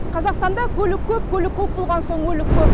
қазақстанда көлік көп көлік көп болған соң өлік көп